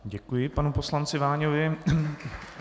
Děkuji panu poslanci Váňovi.